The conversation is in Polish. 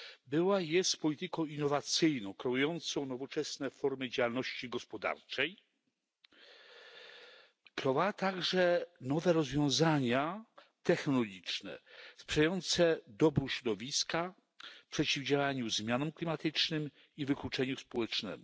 Była i jest polityką innowacyjną, kreującą nowoczesne formy działalności gospodarczej, a także nowe rozwiązania technologiczne, które sprzyjają dobru środowiska oraz przeciwdziałają zmianom klimatycznym i wykluczeniu społecznemu.